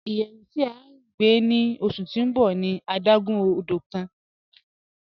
Iyẹwù ti a yọ̀ gbe ni ọṣu ti n bọ̀ ni adágún ọdọ̀ kan.